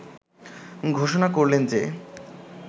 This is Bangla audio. ঘোষণা করলেন যে